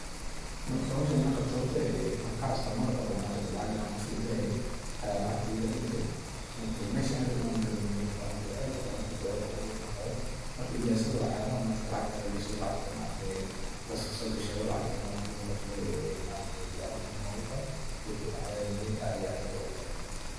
marka howshan an qabto horta waxan kaxasuusta mar oo ma aragte lacag an qof udiraaye aya lacagti iga dhuntee, meshi an rabe inan udiro moye mel kale ayan udire aad ayan ufajecee oo ogu rafaade, marka mpesada waxayalaha ma aragte lacagtaa lagashado lacagtaa ma aragte liskaso gashado, lacagto ma aragte lugu qabsado ee ayay aad muhim ogu utahay, bulshada dhaxdeda na aad ayay muhim ogutahay